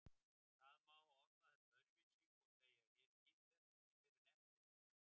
Það má orða þetta öðruvísi og segja: Ég skildi þetta ekki fyrr en eftir á.